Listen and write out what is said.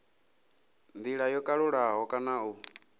ndila yo kalulaho kana u